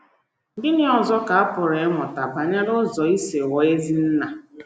Gịnị ọzọ ka a pụrụ ịmụta banyere ụzọ isi ghọọ ezi nna?